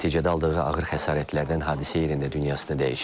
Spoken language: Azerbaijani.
Nəticədə aldığı ağır xəsarətlərdən hadisə yerində dünyasını dəyişib.